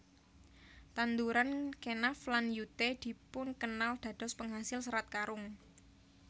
Tanduran Kenaf lan Yute dipun kenal dados penghasil Serat Karung